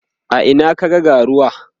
a Ina ka ga ga ruwa?